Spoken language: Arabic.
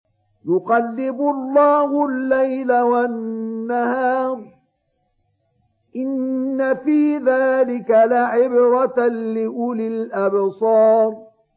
يُقَلِّبُ اللَّهُ اللَّيْلَ وَالنَّهَارَ ۚ إِنَّ فِي ذَٰلِكَ لَعِبْرَةً لِّأُولِي الْأَبْصَارِ